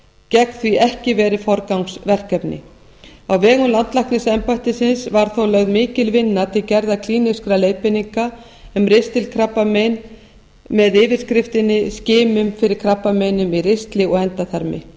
gegn því ekki verið forgangsverkefni á vegum landlæknisembættisins var þó lögð mikil vinna til gerðar klínískra leiðbeininga um ristilkrabbamein með yfirskriftinni skimun fyrir krabbameini í ristli og endaþarmi